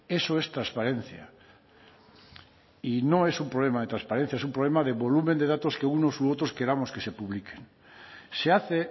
eso es transparencia y no es un problema de transparencia es un problema del volumen de datos que unos u otros queramos que se publique se hace